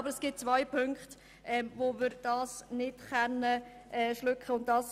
Doch es gibt ein paar Massnahmen, bei denen dies nicht möglich ist.